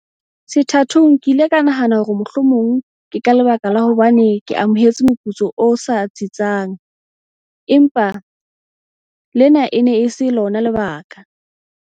"Sethathong ke ile ka nahana hore mohlomong ke ka lebaka la hobane ke amohela moputso o sa tsitsang, empa lena e ne e se lona lebaka."